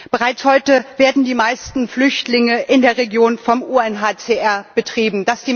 Bereits heute werden die meisten Flüchtlingslager in der Region vom UNHCR betrieben.